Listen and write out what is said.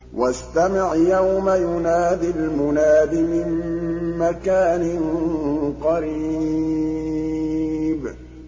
وَاسْتَمِعْ يَوْمَ يُنَادِ الْمُنَادِ مِن مَّكَانٍ قَرِيبٍ